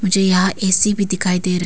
जी हां ए_सी भी दिखाई दे रही--